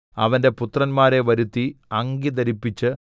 അവന്റെ പുത്രന്മാരെ വരുത്തി അങ്കി ധരിപ്പിച്ച്